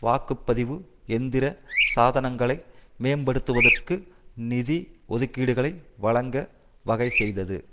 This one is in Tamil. வாக்கு பதிவு எந்திர சாதனங்களை மேம்படுத்துவதற்கு நிதி ஒதுக்கீடுகளை வழங்க வகை செய்தது